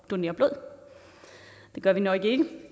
donere blod det gør vi nok ikke